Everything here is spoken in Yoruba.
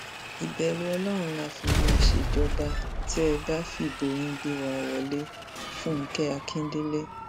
ìbẹrù ọlọrun la fi máa ṣèjọba tẹ ẹ bá fìbò yín gbé wa wọléfúnkẹ akíndélé